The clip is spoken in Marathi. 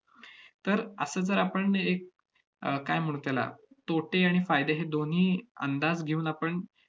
तर असं जर आपण एक अह काय म्हणू त्याला, तोटे आणि फायदे हे दोन्ही अंदाज घेऊन आपण